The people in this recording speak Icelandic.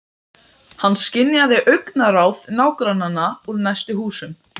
Hann skynjaði augnaráð nágrannanna úr næstu húsum.